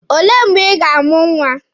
Olee mgbe Ị ga-amụ nwa?